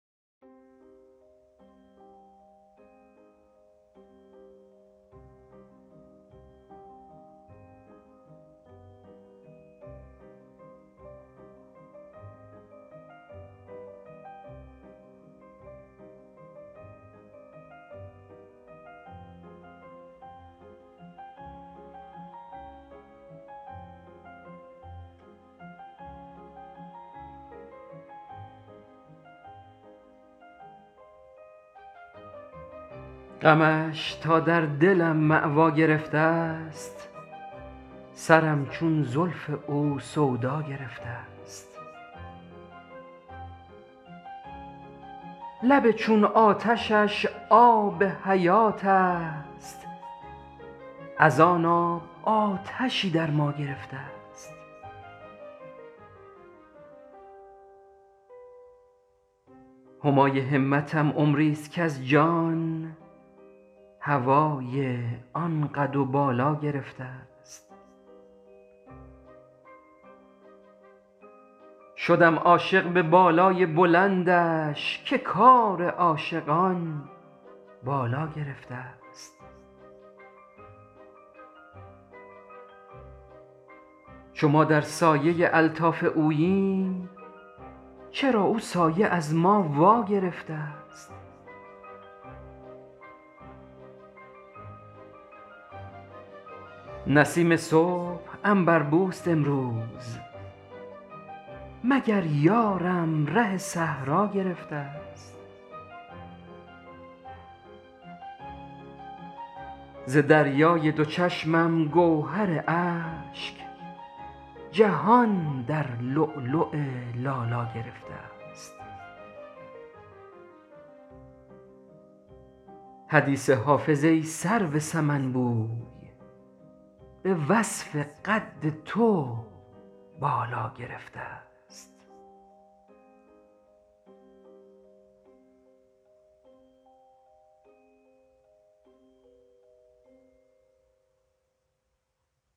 غمش تا در دلم مأوا گرفته است سرم چون زلف او سودا گرفته است لب چون آتشش آب حیات است از آن آب آتشی در ما گرفته است همای همتم عمری است کز جان هوای آن قد و بالا گرفته است شدم عاشق به بالای بلندش که کار عاشقان بالا گرفته است چو ما در سایه الطاف اوییم چرا او سایه از ما وا گرفته است نسیم صبح عنبر بوست امروز مگر یارم ره صحرا گرفته است ز دریای دو چشمم گوهر اشک جهان در لؤلؤ لالا گرفته است حدیث حافظ ای سرو سمن بوی به وصف قد تو بالا گرفته است